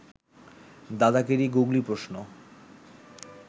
দাদাগিরি googly প্রশ্ন